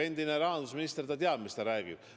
Endine rahandusminister teab, mida ta räägib.